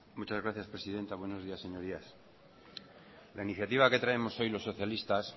muchas gracias presidenta buenos días señorías la iniciativa que traemos hoy los socialistas